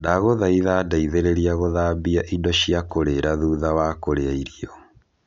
ndagũthaitha ndeithĩrĩria gũthambia indo cia kurĩra thutha wa kũrĩa irio